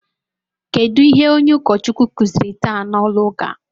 Kedụ ihe onye Ukochukwu kụziri taa n'ụlọ ụka?